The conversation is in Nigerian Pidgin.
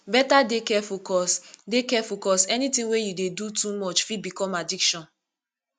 beta dey careful cos dey careful cos anything wey you dey do too much fit become addiction